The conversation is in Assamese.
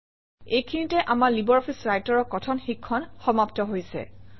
এইখিনিতে আমাৰ লাইব্ৰঅফিছ Writer অৰ কথন শিক্ষণ সমাপ্ত হৈছে